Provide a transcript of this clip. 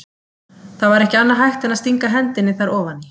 Það var ekki annað hægt en að stinga hendinni þar ofan í.